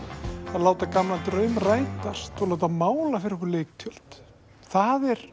að láta gamlan draum rætast og láta mála fyrir okkur leiktjöld það er